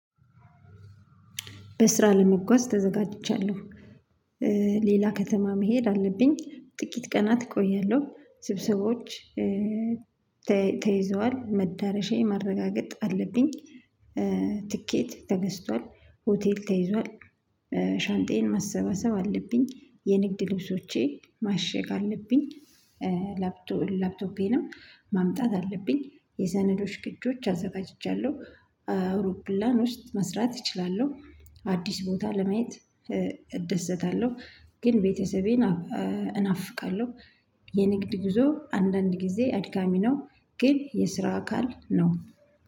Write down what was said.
በስራ ለመጓዝ ተዘጋጅቻለሁ። ሌላ ከተማ መሄድ አለብኝ ጥቂት ቀናት እቆያለሁ ስብሰቦች ተይዘዋል መዳረሻዬን ማረጋገጥ አለብኝ። ትኬት ተገዝቷል ሆቴል ተይዟል ሻንጣየን ማሰበሰብ አለብኝ የንግድ ልብሶቼ ማሸግ አለብኝ። ላፕቶፔንም ማምጣት አለብኝ የሰነዶች ቅጆች አዘጋጅቻለሁ አውሮፕላን ውስጥ መስራት እችላለሁ አዲስ ቦታ ለማየት እደሰታለሁ። ግን ቤተሰቤን እናፍቃለሁ። የንግድ ጉዞ አንዳንድ ጊዜ አድካሚ ነው ግን የስራ አካል ነው።